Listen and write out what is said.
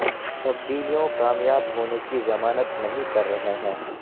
تبدیلیوں کامیاب ہونے کی ضمانت نہیں کر رہے ہیں